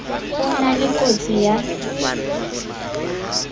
ho na le kotsi ya